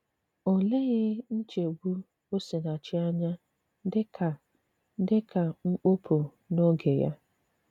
Ọ̀ lèghì nchébù Osìnàchì ànyà dị ka dị ka mkpopu n’òge Yà.